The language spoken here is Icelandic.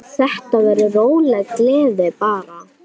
Þetta verður róleg gleði bara.